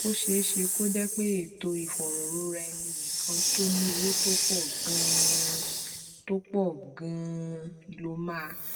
ó ṣeé ṣe kó jé pé ètò ìfòròroraẹninìkan tó ní owó tó pò ganan tó pò ganan ló máa